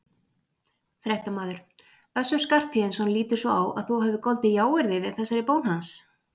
Fréttamaður: Össur Skarphéðinsson lítur svo á að þú hafir goldið jáyrði við þessari bón hans?